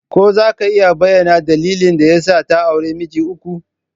Ko za ka iya bayyana dalilin da ya sa ta auri miji uku?